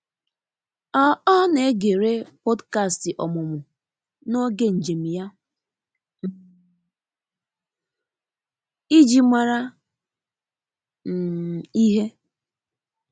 ọ ọ na egere podkastị ọmụmụ n'oge njem ya um iji mara um ihe.